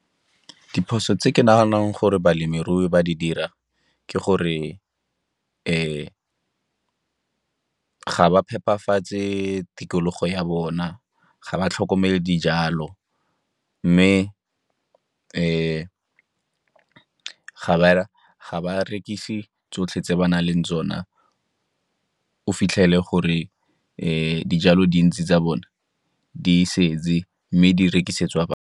Diphoso tse ke naganang gore balemirui ba di dira ke gore ga ba phepafatse tikologo ya bona, ga ba tlhokomele dijalo, mme ga ba rekise tsotlhe tse ba na leng tsona o fitlhele gore dijalo dintsi tsa bone di setse mme di rekisetswa .